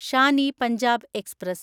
Shaan e Punjab express